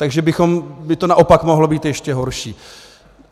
Takže by to naopak mohlo být ještě horší.